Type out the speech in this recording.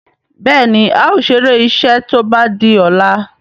Béèni ào ṣeré iṣé tó bá dì ola.